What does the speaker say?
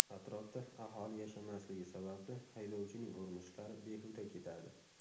Atrofda aholi yashamasligi sababli haydovchining urinishlari behuda ketadi.